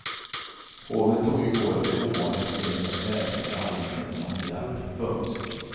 Hovet tog i går det ovanliga steget att vädja till allmänheten om hjälp. punkt